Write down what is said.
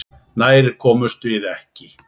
Nær komumst við ekki.